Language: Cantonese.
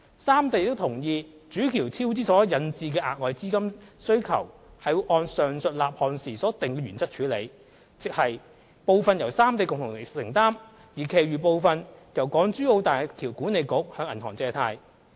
三地亦同意主橋超支所引致的額外資本金需求會按上述立項時所訂定的原則處理，亦即部分由三地共同承擔、而其餘部分由大橋管理局向銀行借貸。